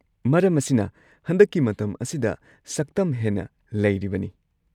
ꯃꯔꯝ ꯑꯁꯤꯅ ꯍꯟꯗꯛꯀꯤ ꯃꯇꯝ ꯑꯁꯤꯗ ꯁꯛꯇꯝ ꯍꯦꯟꯅ ꯂꯩꯔꯤꯕꯅꯤ꯫